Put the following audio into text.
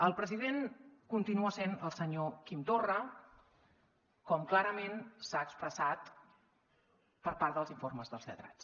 el president continua sent el senyor quim torra com clarament s’ha expressat per part dels informes dels lletrats